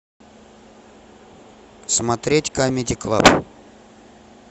смотреть камеди клаб